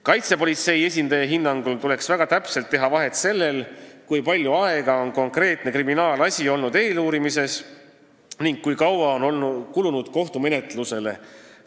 Kaitsepolitsei esindaja hinnangul tuleks teha väga täpselt vahet sellel, kui kaua on konkreetne kriminaalasi olnud eeluurimise all, ning sellel, kui palju aega on kulunud kohtumenetlusele.